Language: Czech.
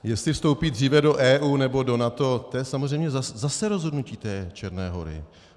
Jestli vstoupí dříve do EU, nebo do NATO, to je samozřejmě zase rozhodnutí té Černé Hory.